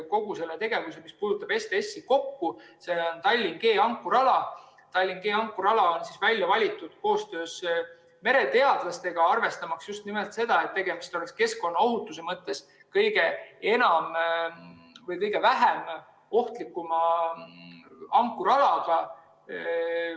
See on Tallinna ankruala G, mis on välja valitud koostöös mereteadlastega, arvestades just nimelt seda, et tegemist oleks keskkonnaohutuse mõttes kõige vähem ohtliku ankrualaga.